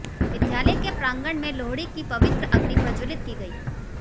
विद्यालय के प्रांगण में लोहड़ी की पवित्र अग्नि प्रज्वलित की गई